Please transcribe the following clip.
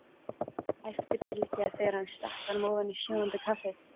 æpti Bylgja þegar hann stakk honum ofan í sjóðandi kaffið.